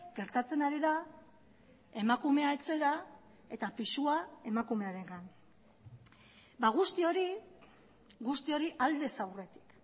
gertatzen ari da emakumea etxera eta pisua emakumearengan guzti hori guzti hori aldez aurretik